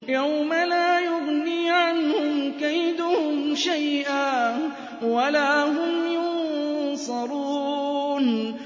يَوْمَ لَا يُغْنِي عَنْهُمْ كَيْدُهُمْ شَيْئًا وَلَا هُمْ يُنصَرُونَ